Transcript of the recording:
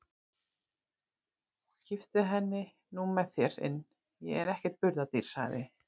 Kipptu henni nú með þér inn, ég er ekkert burðardýr, sagði